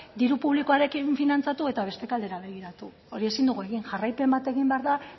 diru publikoaren finantzatu eta beste aldera begiratu hori ezin dugu egin jarraipen bat egin behar da